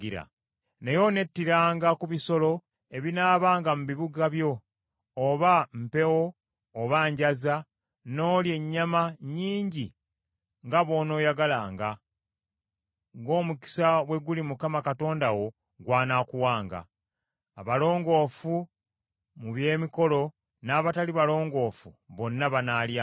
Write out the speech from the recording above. Naye onettiranga ku bisolo ebinaabanga mu bibuga byo, oba mpeewo oba njaza, n’olya ennyama nnyingi nga bw’onooyagalanga, ng’omukisa bwe guli Mukama Katonda wo gw’anaakuwanga. Abalongoofu mu by’emikolo n’abatali balongoofu, bonna banaalyanga.